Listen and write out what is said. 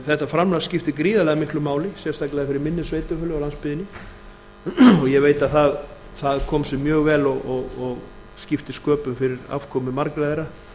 þetta framlag skiptir gríðarlega miklu máli sérstaklega fyrir minni sveitarfélög á landsbyggðinni og ég veit að það kom sér mjög vel og skipti sköpum fyrir afkomu margra þeirra